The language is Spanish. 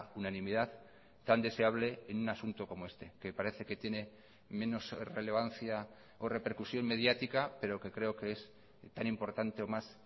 unanimidad tan deseable en un asunto como este que parece que tiene menos relevancia o repercusión mediática pero que creo que es tan importante o más